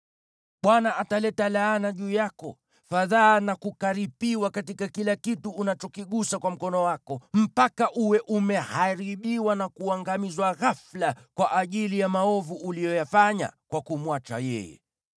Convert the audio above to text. Bwana ataleta laana juu yako, fadhaa na kukaripiwa katika kila kitu unachokigusa kwa mkono wako, mpaka uwe umeharibiwa na kuangamizwa ghafula kwa ajili ya maovu uliyoyafanya kwa kumwacha yeye.